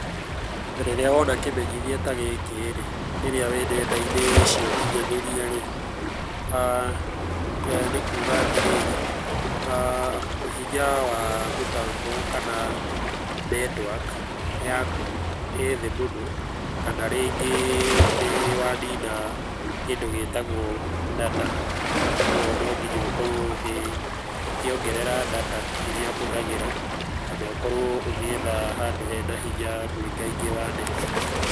Rĩrĩa wona kĩmenyithia ta gĩkĩ rĩ rĩrĩa wĩ nenda-inĩ cia ũkinyanĩria rĩ, nĩ kuuga atĩrĩrĩ hinya wa mĩtambo kana netiwaki yaku ĩĩ thĩ mũno kana rĩngĩ nĩ wanina kĩndũ gĩtagũo data. Ũguo no nginya ũkorũo ũkĩongerera data irĩa ũhũthagĩra kana ũkorũo ũgĩetha handũ hena hinya mũingaingĩ wa net.